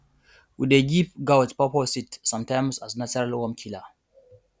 we dey give goat pawpaw seed sometimes as natural worm killer